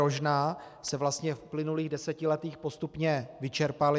Rožná se vlastně v uplynulých desetiletích postupně vyčerpaly.